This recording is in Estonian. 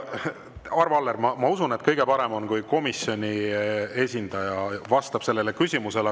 Arvo Aller, ma usun, et kõige parem on, kui komisjoni esindaja vastab sellele küsimusele.